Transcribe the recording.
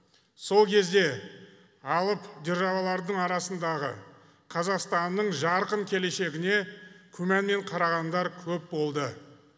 сол кезде алып державалардың арасындағы қазақстанның жарқын келешегіне күмәнмен қарағандар көп болды